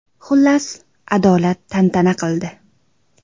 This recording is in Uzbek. Xullas, adolat tantana qildi.